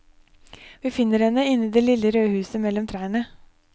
Vi finner henne inne i det lille røde huset mellom trærne.